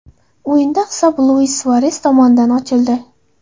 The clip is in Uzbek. O‘yinda hisob Luis Suares tomonidan ochildi.